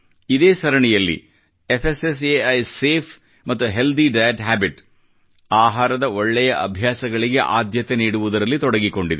ಇದೇ ಸರಣಿಯಲ್ಲಿ FSSAI safe ಮತ್ತು ಹೆಲ್ತಿ ಡಯಟ್ ಹ್ಯಾಬಿಟ್ ಆಹಾರದ ಒಳ್ಳೆಯ ಅಭ್ಯಾಸಗಳಿಗೆ ಆದ್ಯತೆ ನೀಡುವುದರಲ್ಲಿ ತೊಡಗಿಕೊಂಡಿದೆ